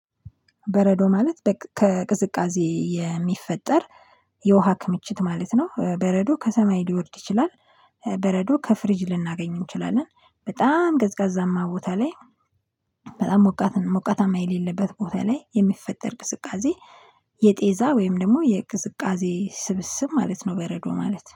በረዶ ማለት ከቅዝቃዜ የሚፈጠር የውሃ ክምችት ማለት ነው። በረዶ ከሰማይ ሊወርድ ይችላል። በረዶ ከፍሪጅ ልናገኝ እንችላለን። በጣም ቀዝቃዛማ ቦታ ላይ። በጣም ሞቃት ሞቃታማ የሌለበት ቦታ ላይ የሚፈጠር ቅዝቃዜ። የጤዛ ወይም ደግሞ የቅዝቃዜ ስብስብ ማለት ነው። በረዶ ማለት